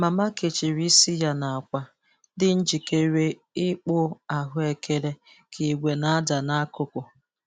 Mama kechiri isi ya na akwa, dị njikere ịkpụ ahụekere ka igbè na-ada n'akụkụ.